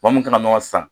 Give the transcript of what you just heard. Maa min kana nɔnɔ san